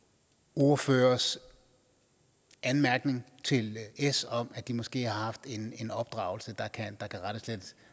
ordførers anmærkning til s om at de måske har haft en en opdragelse der kan rettes